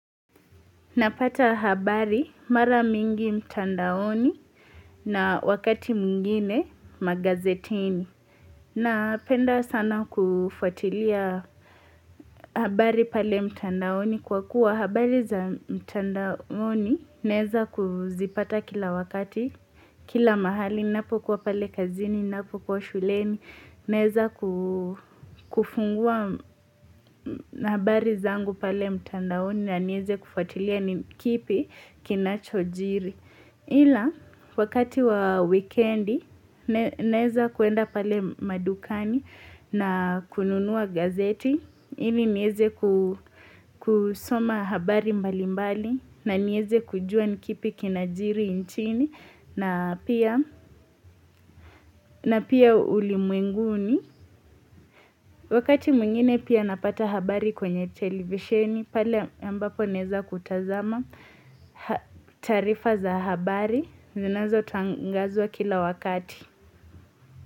Napata habari mara mingi mtandaoni na wakati mwingine magazetini. Napenda sana kufuatilia habari pale mtandaoni kwa kuwa habari za mtandaoni nezakuzipata kila wakati, kila mahali, napokuwa pale kazini, napo kwa shuleni. Naeza kufungua nabari zangu pale mtandaoni na nieze kufatilia nikipi kinachojiri. Ila, wakati wa wikendi, naeza kuenda pale madukani na kununua gazeti. Hili nieze kusoma habari mbali mbali na nieze kujua ni kipi kinajiri nchini na pia ulimwenguni. Wakati mwingine pia napata habari kwenye televisioni, pale ambapo neza kutazama tarifa za habari, zinazotangazwa kila wakati.